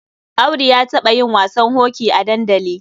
Audu ya taɓa yin wasan hoki a dandali.